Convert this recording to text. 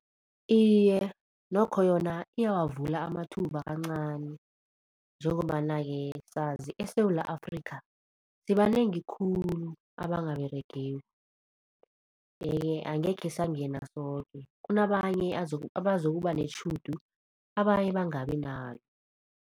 Iye, nokho yona iyawavula amathuba kancani njengombana-ke sazi eSewula Afrikha sibanengi khulu abangaberegiko. Yeke angekhe sangena soke kunabanye abazokuba netjhudu abanye bangabi nalo.